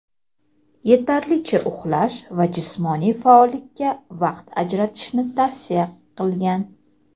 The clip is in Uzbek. yetarlicha uxlash va jismoniy faollikka vaqt ajratishni tavsiya qilgan.